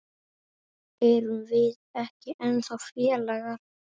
Erum við ekki ennþá félagar?